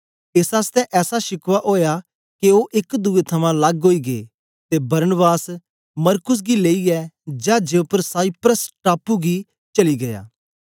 एस आसतै ऐसा शिकवा ओया के ओ एक दुए थमां लग्ग ओई गै ते बरनबास मरकुस गी लेईयै चाजे उपर साइप्रस टापू गी चली गीया